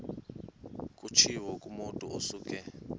kutshiwo kumotu osuke